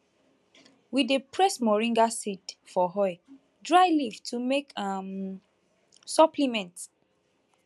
we dey press moringa seed for oil dry leaf to make um supplement